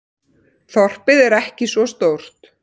Þorpið er ekki svo stórt.